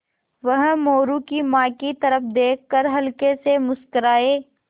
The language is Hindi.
वह मोरू की माँ की तरफ़ देख कर हल्के से मुस्कराये